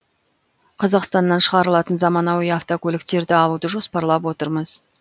қазақстаннан шығарылатын заманауи автокөліктерді алуды жоспарлап отырмыз